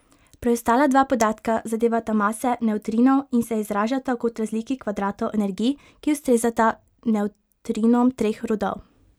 Preostala dva podatka zadevata mase nevtrinov in se izražata kot razliki kvadratov energij, ki ustrezata nevtrinom treh rodov.